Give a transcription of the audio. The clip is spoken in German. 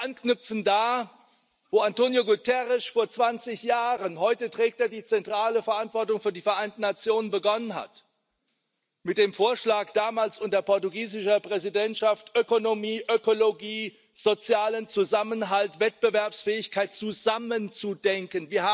Wir müssen wieder da anknüpfen, wo António Guterres vor 20 Jahren heute trägt er die zentrale Verantwortung für die Vereinten Nationen begonnen hat mit dem Vorschlag damals unter portugiesischer Präsidentschaft Ökonomie, Ökologie, sozialen Zusammenhalt, Wettbewerbsfähigkeit zusammen zu denken.